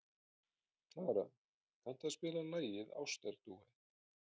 Klara, kanntu að spila lagið „Ástardúett“?